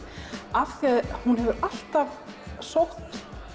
af því að hún hefur alltaf sótt